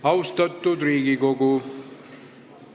Austatud Riigikogu!